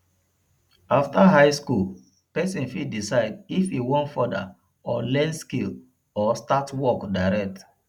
after high school persin fit decide if e won further or learn skill or start work direct